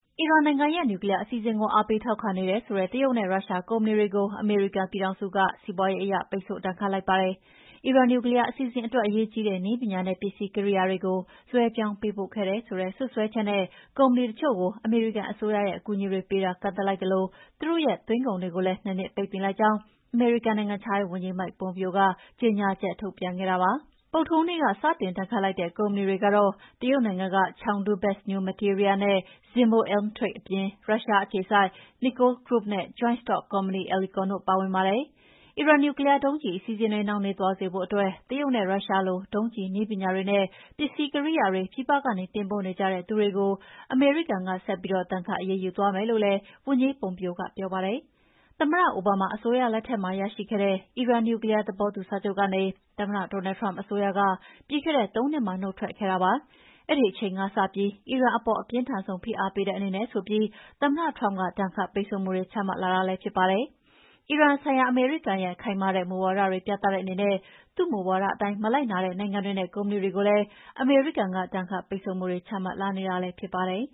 အီရန်နိုင်ငံရဲ့ နျူကလီးယား အစီအစဉ်ကို အားပေးထောက်ခံနေတယ်ဆိုတဲ့ တရုတ်နဲ့ ရုရှားကုမ္ပဏီတွေကို အမေရိကန်ပြည်ထောင်စုက စီးပွားရေးအရ ပိတ်ဆို့ဒဏ်ခတ်လိုက်ပါတယ်။ အီရန်နျူကလီးယား အစီအစဉ်အတွက် အရေးကြီးတဲ့ နည်းပညာနဲ့ ပစ္စည်းကိရိယာတွေကို လွှဲပြောင်းပေးပို့ခဲ့တယ်ဆိုတဲ့ စွပ်စွဲချက်နဲ့ ကုမ္ပဏီတချို့ကို အမေရိကန်အစိုးရရဲ့ အကူအညီတွေပေးတာ ကန့်သတ်လိုက်သလို သူတို့ရဲ့ သွင်းကုန်တွေကိုလည်း ၂ နှစ်ပိတ်ပင်လိုက်ကြောင်း အမေရိကန် နိုင်ငံခြားရေးဝန်ကြီး Mike Pompeo က ကြေညာချက်ထုတ်ပြန်ခဲ့တာပါ။ ဗုဒ္ဓဟူးနေ့က စတင်ဒဏ်ခတ်လိုက်တဲ့ ကုမ္ပဏီတွေကတော့ တရုတ်နိုင်ငံက Chengdu Best New Materials နဲ့ Zibo Elim Trade အပြင် ရုရှားအခြေစိုက် Nilco Group နဲ့ Joint Stock Company Elecon တို့ ပါဝင်ပါတယ်။ အီရန်နျူကလီးယားဒုံးကျည် အစီအစဉ်တွေ နှောင့်နှေးသွားစေဖို့အတွက် တရုတ်နဲ့ ရုရှားလို ဒုံးကျည်နည်းပညာတွေနဲ့ ပစ္စည်းကိရိယာတွေ ပြည်ပကနေ တင်ပို့နေကြတဲ့သူတွေကို အမေရိကန်က ဆက်ပြီး ဒဏ်ခတ်အရေးယူသွားမယ်လို့လည်း ဝန်ကြီး Pompeo က ပြောပါတယ်။ သမ္မတ Obama အစိုးရလက်ထက်မှာ ရရှိခဲ့တဲ့ အီရန်နျူကလီးယား သဘောတူစာချုပ်ကနေ သမ္မတ Donald Trump အစိုးရက ပြီးခဲ့တဲ့ ၃ နှစ်မှာ နုတ်ထွက်ခဲ့တာ ဖြစ်ပါတယ်။ အဲဒီအချိန်ကစပြီး အီရန်အပေါ် အပြင်းထန်ဆုံး ဖိအားပေးတဲ့အနေနဲ့ဆိုပြီး သမ္မတ Trump က ဒဏ်ခတ်ပိတ်ဆို့မှုတွေ ချမှတ်လာတာ ဖြစ်ပါတယ်။ အီရန်ဆိုင်ရာ အမေရိကန်ရဲ့ ခိုင်မာတဲ့ မူဝါဒတွေ ပြသတဲ့အနေနဲ့ သူ့မူဝါဒအတိုင်း မလိုက်နာတဲ့ နိုင်ငံတွေနဲ့ ကုမ္ပဏီတွေကိုလည်း အမေရိကန်က ဒဏ်ခတ်ပိတ်ဆို့မှုတွေ ချမှတ်လာနေတာလည်း ဖြစ်ပါတယ်